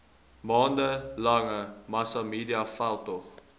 maande lange massamediaveldtog